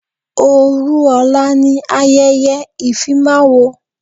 Òru ọ̀la ni ayẹyẹ ìfimáwo.